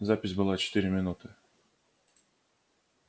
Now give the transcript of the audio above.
запись была четыре минуты